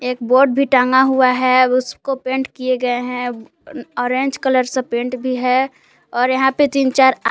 एक बोर्ड भी टंगा हुआ है उसको पेंट किए गए हैं ऑरेंज कलर से पेंट भी है और यहां पे तीन चार आ--